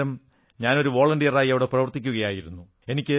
അന്നേരം ഞാൻ ഒരു വോളണ്ടിയറായി അവിടെ പ്രവർത്തിക്കയായിരുന്നു